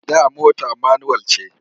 Da mota manuwal ce.